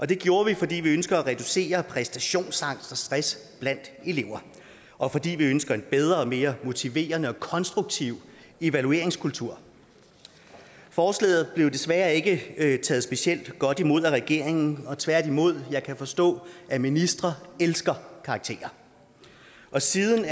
det gjorde vi fordi vi ønsker at reducere præstationsangst og stress blandt elever og fordi vi ønsker en bedre og mere motiverende og konstruktiv evalueringskultur forslaget blev desværre ikke ikke taget specielt godt imod af regeringen tværtimod kan jeg forstå at ministre elsker karakterer og siden